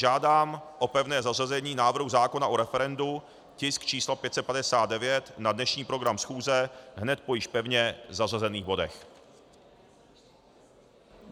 Žádám o pevné zařazení návrhu zákona o referendu, tisk číslo 559, na dnešní program schůze hned po již pevně zařazených bodech.